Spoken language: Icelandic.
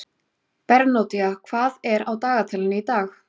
Bernódía, hvað er á dagatalinu í dag?